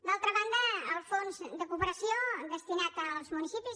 d’altra banda el fons de cooperació destinat als municipis